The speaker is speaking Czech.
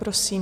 Prosím.